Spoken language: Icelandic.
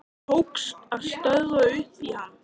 Tókst að stökkva upp í hann.